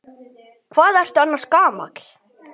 Hvað ertu annars gamall?